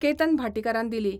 केतन भाटीकारान दिली.